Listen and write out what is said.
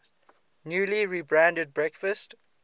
newly rebranded breakfast